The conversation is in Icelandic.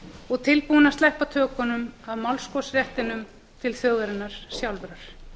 og er tilbúinn að sleppa tökunum af málskotsréttinum til þjóðarinnar sjálfrar